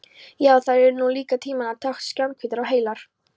Já, þær voru nú líka tímanna tákn, skjannahvítar og heilar.